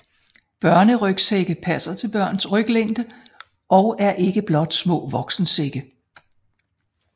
Børnerygsække passer til børns ryglængde og er ikke blot små voksensække